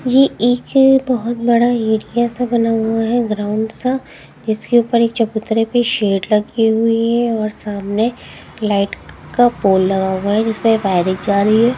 ये एक बहुत बड़ा एरिया सा बना हुआ है ग्राउंड सा इसके ऊपर एक चकुत्रे पे शेड लगी हुई है और सामने -- लाइट का पोल लगा हुआ है जिसपे वाइरिंग जा रही है।